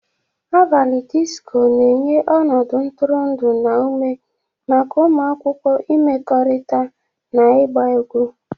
Abalị disko na-enye ọnọdụ ntụrụndụ na ume maka ụmụ akwụkwọ ịmekọrịta na ịgba egwu.